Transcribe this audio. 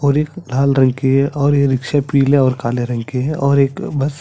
और एक लाल रंग की है और ये रिक्सॆ पीले और काले रंग की है और एक बस --